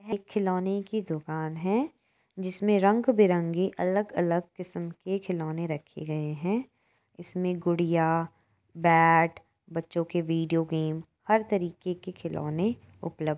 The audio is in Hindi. यह खिलौने की दुकान है जिसमें रंग-बिरंगे अलग-अलग किस्म के खिलौने रखे गए हैं इसमें गुड़िया बैट बच्चों के वीडियो गेम हर तरीके के खिलौने उपलब्ध हैं।